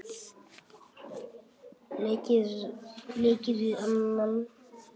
leika við annan